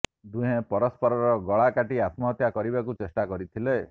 ଦୁହେଁ ପରସ୍ପରର ଗଳା କାଟି ଆତ୍ମହତ୍ୟା କରିବାକୁ ଚେଷ୍ଟା କରିଥିଲେ